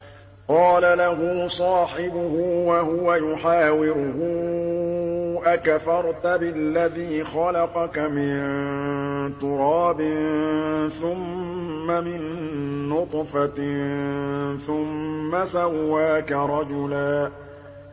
قَالَ لَهُ صَاحِبُهُ وَهُوَ يُحَاوِرُهُ أَكَفَرْتَ بِالَّذِي خَلَقَكَ مِن تُرَابٍ ثُمَّ مِن نُّطْفَةٍ ثُمَّ سَوَّاكَ رَجُلًا